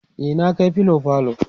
e na Kai filo falo